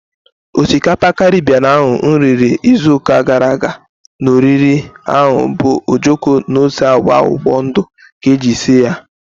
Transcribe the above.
Osikapa Karibien ahu mụ riri ịzụ ụka gara aga na oriri ahu bu ojoko na ose agwa akwụkwọ ndụ ka eji sie ya